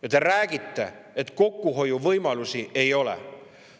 Ja te räägite, et kokkuhoiuvõimalusi ei ole.